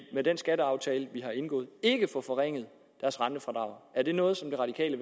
med den skatteaftale vi har indgået ikke få forringet deres rentefradrag er det noget som det radikale